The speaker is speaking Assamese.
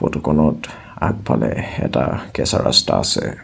ফটোখনত আগফালে এটা কেঁচা ৰাস্তা আছে।